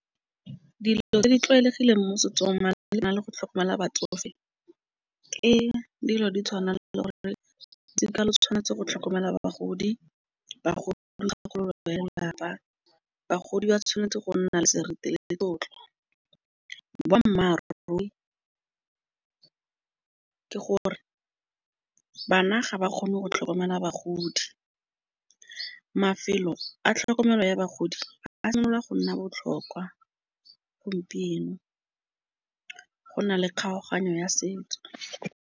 Dilo tse di tlwaelegileng mo setsong malebana le go tlhokomela batsofe. Ke dilo di tshwana le ba le gore re dikelo tshwanetse go tlhokomela bagodi. Bagodi ya lelapa. Bagodi ba tshwanetse go nna le seriti le tlotlo. Ka boammaaruri ke gore bana ga ba kgone go tlhokomela bagodi. Mafelo a tlhokomelo ya bagodi a simolola go nna botlhokwa gompieno go na le kgaoganyo ya setso.